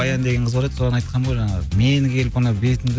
баян деген қыз бар еді соған айтқамын ғой жаңағы мені келіп ана бетімді